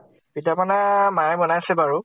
পিঠা পনা মায়ে বনাইছে বাৰু ।